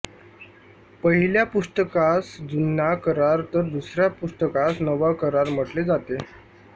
पहिल्या पुस्तकास जुना करार तर दुसऱ्या पुस्तकास नवा करार म्हटले जाते